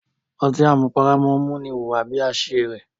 Ọtí àmupara máa ń múni hùwà bí i aṣiwèrè.